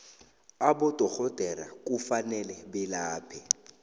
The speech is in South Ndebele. abodorhodera kufanele belaphe